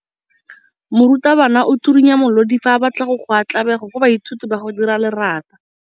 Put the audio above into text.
Morutwabana o tswirinya molodi fa a batla go goa tlabego go baithuti ba go dira lerata.